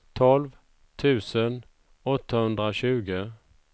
tolv tusen åttahundratjugo